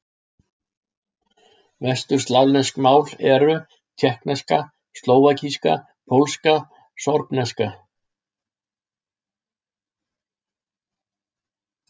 Vesturslavnesk mál eru: tékkneska, slóvakíska, pólska, sorbneska.